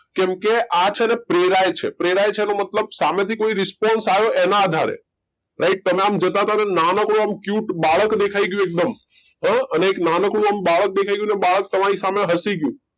કેમ કે પ્રેરાય છે પ્રેરાય છે એનો મતલબ સામેથી કોઈ response આવ્યો એના આધારે right તમે આમ cute બાળક દેખાઈ ગયું અને નાનકડું બાળક દેખાઈ ગયું તમને જોઈ ને હસી ગયું